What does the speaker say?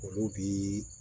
Olu bi